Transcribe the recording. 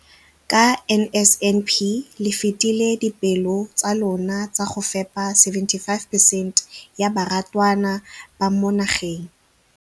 Ka NSNP le fetile dipeelo tsa lona tsa go fepa masome a supa le botlhano a diperesente ya barutwana ba mo nageng.